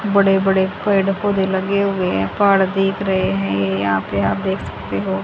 बड़े बड़े पेड़ पौधे लगे हुए है पहाड़ दिख रहे हैं ये यहां पे आप देख सकते हो।